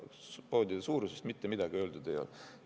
Poodide suuruse kohta mitte midagi öeldud ei ole.